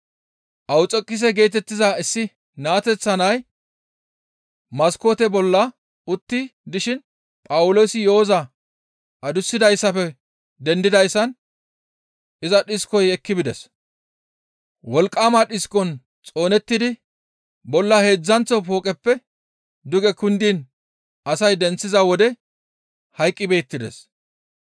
Awuxekise geetettiza issi naateththa nay maskoote bolla utti dishin Phawuloosi yo7oza adussidayssafe dendidayssan iza dhiskoy ekki bides; wolqqama dhiskon xoonettidi bolla heedzdzanththo fooqeppe duge kundiin asay denththiza wode hayqqi beettides.